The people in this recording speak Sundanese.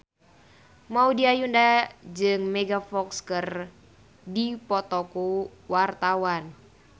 Maudy Ayunda jeung Megan Fox keur dipoto ku wartawan